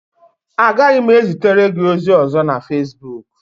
Agaghị m ezitere gị ozi ọzọ na Fesbuk